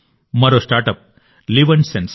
మరో స్టార్టప్ లివ్న్సెన్స్